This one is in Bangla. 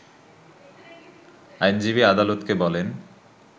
আইনজীবী আদালতকে বলেন